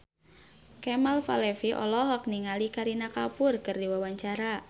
Kemal Palevi olohok ningali Kareena Kapoor keur diwawancara